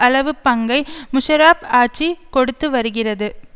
அளவு பங்கை முஷாரஃப் ஆட்சி கொடுத்து வருகிறது